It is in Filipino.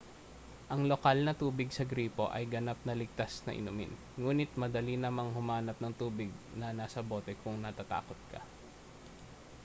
ang lokal na tubig sa gripo ay ganap na ligtas na inumin nguni't madali namang humanap ng tubig na nasa bote kung natatakot ka